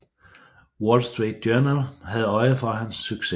Wall Street Journal havde øje for hans succes